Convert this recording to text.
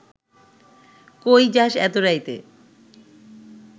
কই যাস এত রাইতে